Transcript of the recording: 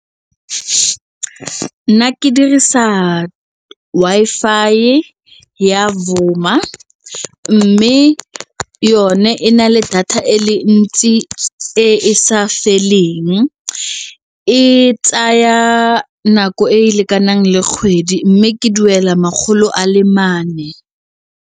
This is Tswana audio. Nna ke dirisa Wi-Fi ya Vuma mme yone e na le data e le ntsi e sa feleng, e tsaya nako e e lekanang le kgwedi mme ke duela makgolo a le mane.